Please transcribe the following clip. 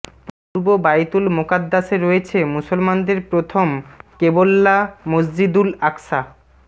পূর্ব বাইতুল মোকাদ্দাসে রয়েছে মুসলমানদের প্রথম ক্বেবলা মসজিুদল আকসা